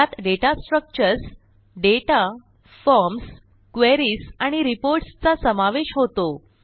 ज्यात data structures data forms queries आणि reports चा समावेश होतो